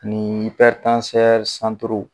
Nii